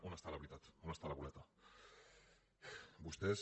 on està la veritat on està la boleta vostès